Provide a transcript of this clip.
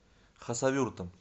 хасавюртом